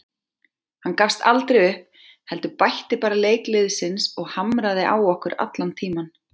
Hann gafst aldrei upp heldur bætti bara leik liðsins og hamraði á okkur allan tímann.